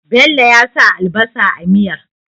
Bello ya sa albasa a miyar